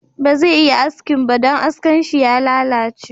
Baze iya askin ba, don askan shi ya lalace